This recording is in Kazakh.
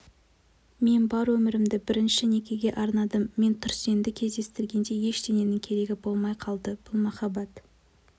мен бар өмірімді бірінші некеге арнадым мен тұрсенді кездестіргенде ештеңенің керегі болмай қалды бұл махаббат